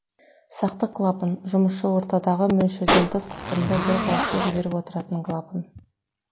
сақтық клапан жұмысшы ортадағы мөлшерден тыс қысымды бір қалыпты жіберіп отыратын клапан